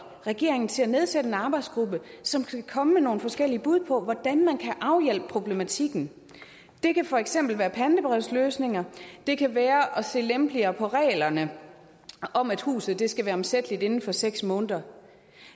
regeringen til at nedsætte en arbejdsgruppe som skal komme med nogle forskellige bud på hvordan man kan afhjælpe problematikken det kan for eksempel være pantebrevsløsninger det kan være at se lempeligere på reglerne om at huset skal være omsætteligt inden for seks måneder